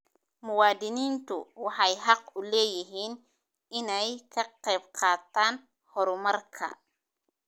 Muwaadiniintu waxay xaq u leeyihiin inay ka qaybqaataan horumarka.